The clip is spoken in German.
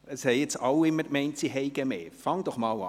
– Es haben bisher alle gemeint, Sie würden mehr Zeit benötigen.